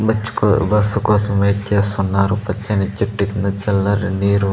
Bus కోసం wait చేస్తున్నారు పచ్చని చెట్టు కింద చల్లని నీరు.